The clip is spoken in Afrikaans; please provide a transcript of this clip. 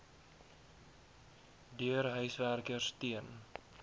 deur huiswerkers teen